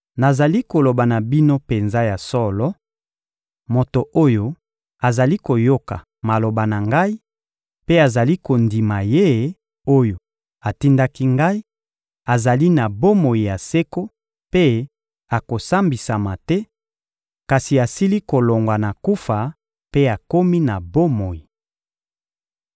Nazali koloba na bino penza ya solo: moto oyo azali koyoka maloba na Ngai mpe azali kondima Ye oyo atindaki Ngai, azali na bomoi ya seko mpe akosambisama te, kasi asili kolongwa na kufa mpe akomi na bomoi.